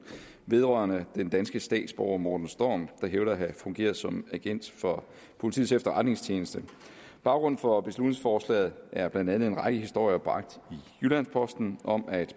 vedrørende den danske statsborger morten storm der hævder at have fungeret som agent for politiets efterretningstjeneste baggrunden for beslutningsforslaget er blandt andet en række historier bragt i jyllands posten om at